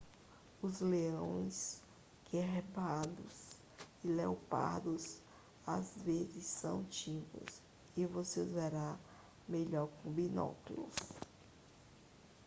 os leões guepardos e leopardos às vezes são tímidos e você os verá melhor com binóculos